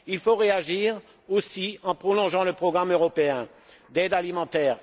Il faut réagir aussi en prolongeant le programme européen d'aide alimentaire.